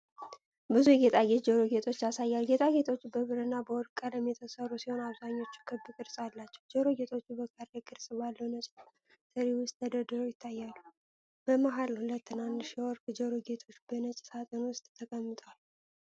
ብዙ የጌጣጌጥ ጆሮ ጌጦችን ያሳያል። ጌጣጌጦቹ በብርና በወርቅ ቀለም የተሠሩ ሲሆን፣ አብዛኛዎቹ ክብ ቅርጽ አላቸው። ጆሮ ጌጦቹ በካሬ ቅርጽ ባለው ነጭ ትሪ ውስጥ ተደርድረው ይታያሉ። በመሃል ሁለት ትናንሽ የወርቅ ጆሮ ጌጦች በነጭ ሳጥን ውስጥ ተቀምጠዋል።